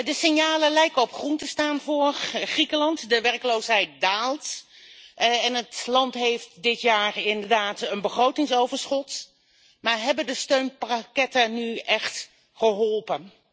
De signalen lijken op groen te staan voor Griekenland de werkloosheid daalt en het land heeft dit jaar inderdaad een begrotingsoverschot, maar hebben de steunpakketten nu echt geholpen?